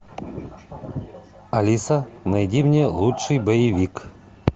алиса найди мне лучший боевик